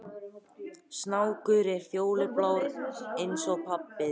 Guðný: Eru þau jákvæð?